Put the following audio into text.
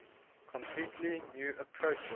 completely new approaches